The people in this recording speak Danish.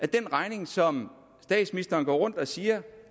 den regning som statsministeren går rundt og siger